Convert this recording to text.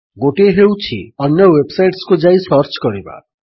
ଗୋଟିଏ ହେଉଛି ଅନ୍ୟ ୱେବ୍ ସାଇଟ୍ସକୁ ଯାଇ ସର୍ଚ୍ଚ କରିବା